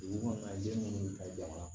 Dugukɔnɔ den munnu ka jama